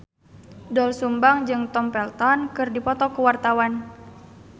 Doel Sumbang jeung Tom Felton keur dipoto ku wartawan